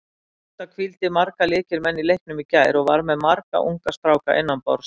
Grótta hvíldi marga lykilmenn í leiknum í gær og var með marga unga stráka innanborðs.